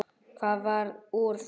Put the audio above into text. Það varð úr að